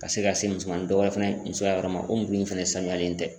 Ka se ka se musoman dɔ fana musoya yɔrɔ ma o mulu in fɛnɛ sanuyalen tɛ.